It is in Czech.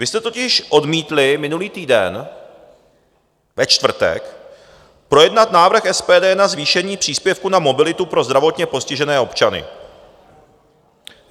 Vy jste totiž odmítli minulý týden ve čtvrtek projednat návrh SPD na zvýšení příspěvku na mobilitu pro zdravotně postižené občany.